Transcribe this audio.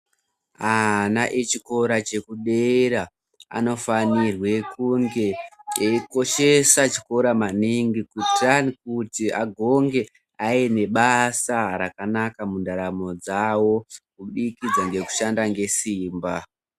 Ana echikora chekudera anofanirwe kunge eikoshesa chikora maningi kuti agonge aine basa rakanaka mundaramo dzavo kubudikidza ngekushanda nesimba.